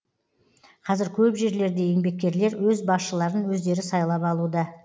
қазір көп жерлерде еңбеккерлер өз басшыларын өздері сайлап алуда